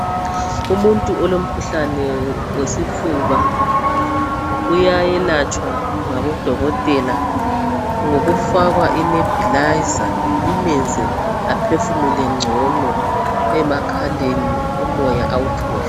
Umuntu olomkhuhlane wesifuba uyayelatshwa ngabodokotela ngokufakwa i"nabilizer" imenze aphefumule ngcono emakhaleni, umoya awuthole.